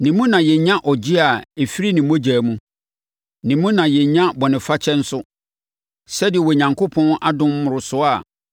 Ne mu na yɛnya ɔgyeɛ a ɛfiri ne mogya mu. Ne mu na yɛnya bɔnefakyɛ nso, sɛdeɛ Onyankopɔn adom mmorosoɔ a